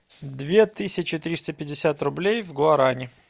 две тысячи триста пятьдесят рублей в гуарани